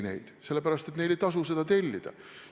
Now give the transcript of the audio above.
Ei telli sellepärast, et neil ei tasu neid tellida.